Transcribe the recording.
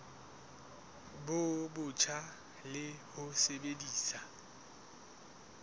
bo botjha le ho sebedisa